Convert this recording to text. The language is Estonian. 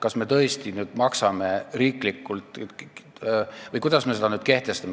Kas me tõesti hakkame seda riigieelarvest maksma või kuidas me selle nüüd kehtestame?